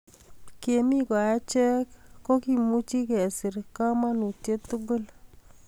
kemi ko achek ko kimuji kesir kamautiet tugul